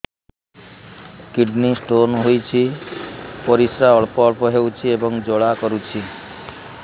kidney stone ହୋଇଛି ପରିସ୍ରା ଅଳ୍ପ ଅଳ୍ପ ହେଉଛି ଏବଂ ଜ୍ୱାଳା କରୁଛି